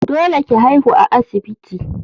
Dole ki haihu a asibiti!